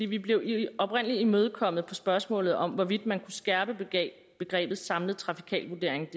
vi blev oprindelig imødekommet på spørgsmålet om hvorvidt man kunne skærpe begrebet samlet trafikal vurdering